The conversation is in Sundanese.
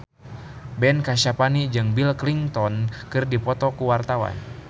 Ben Kasyafani jeung Bill Clinton keur dipoto ku wartawan